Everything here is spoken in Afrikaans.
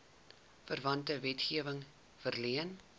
verwante wetgewing verleen